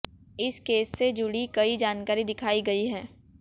इस केस से जुड़ी कई जानकारी दिखाई गई है